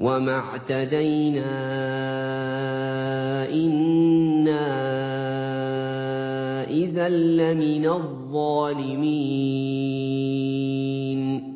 وَمَا اعْتَدَيْنَا إِنَّا إِذًا لَّمِنَ الظَّالِمِينَ